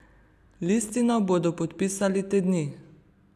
Listino bodo podpisali te dni.